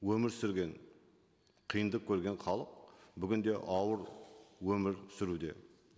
өмір сүрген қиындық көрген халық бүгін де ауыр өмір сүруде